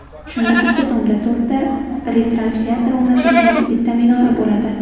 Shunda bitta tomda to‘rtta retranslyator o‘rnatilgan bitta minora bo‘ladi.